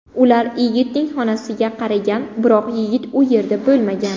Ular yigitning xonasiga qaragan, biroq yigit u yerda bo‘lmagan.